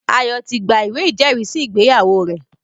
Ayo ti gba ìwé ìjẹ́rìísí ìgbéyàwó rẹ̀